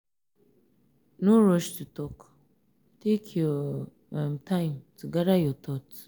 no rush to talk take your um time to gather your thoughts.